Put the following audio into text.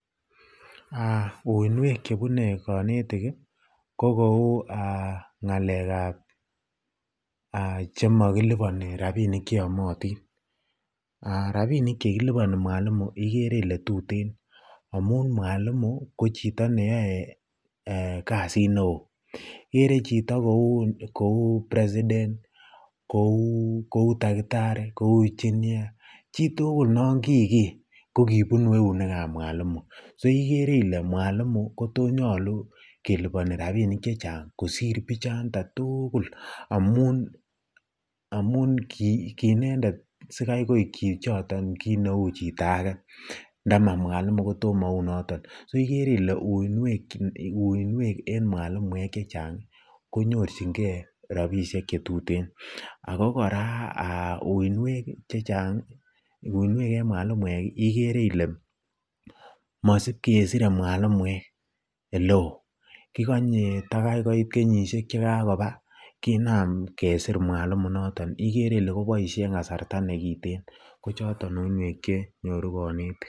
Uinwek chebune konetik ko kou ng'alekab chenokiliboni rabinik cheyomotin, rabinik chekiliboni Mwalimu ikere ilee tuten amun mwalimu ko chito neyoe kasit neoo, ikere chito kouu president, kou takitari, kou engineer chitukul non kiiker ko kibunu eunekab mwalimu, so ikere ile mwalimu kotonyolu keliboni rabinik kosir bichonton tukul amun kiinendet sikai koik chichiton sikai koik chito akee, ndomo mwalimu kotomounoton, so ikere ilee uinwek en mwalimuek chechang konyorching'e rabishek chetuten ak ko kora uinwek en mwalimuek ikere ilee mosiib kesire mwalimuek sleep, kikonye kotaa koit kenyishek chekakobwa kinam kesir mwalimu inoton ikere ilee koboishe en kasarta nekiten ko choton uinwek chenyoru konetik.